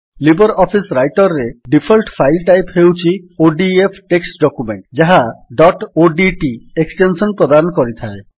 Libre office writer ରେ default file type ହେଉଛି ODF text document ଯାହା ଡଟ୍ ଓଡିଟି ଏକ୍ସଟେନ୍ସନ୍ ପ୍ରଦାନ କରିଥାଏ